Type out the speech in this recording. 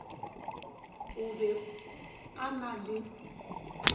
o be a na le